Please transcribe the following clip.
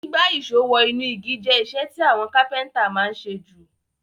Gbígbá ìsó wo inú igi je isẹ́ ti àwon Kápẹ́ńtà ma n sé ju